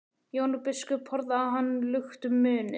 Jón biskup horfði á hann luktum munni.